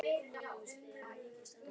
Um hvað er Lena að tala?